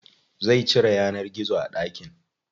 Zai cire yanar gizo a ɗakin.